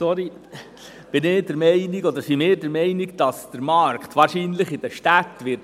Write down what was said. Zybach, sind wir der Meinung, dass der Markt in den Städten wahrscheinlich spielen wird.